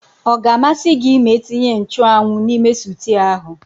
Ọga amasị gị ma etinye nchụ́anwu n'ime sịtịụ ahụ?